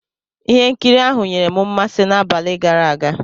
Ihe nkiri ahụ nyere m mmasị n'abalị gara aga.